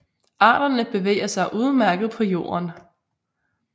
Arterne bevæger sig udmærket på jorden